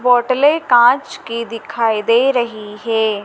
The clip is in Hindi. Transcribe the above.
बॉटले कांच की दिखाई दे रही है।